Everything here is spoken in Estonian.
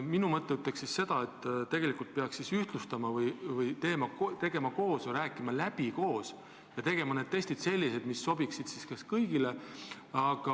Minu arvates tegelikult peaks asja ühtlustama, läbi rääkima ja tegema koos sellised testid, mis sobiksid kõigile.